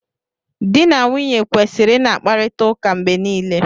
Di na nwunye kwesịrị ị na-akparịta ụka mgbe niile.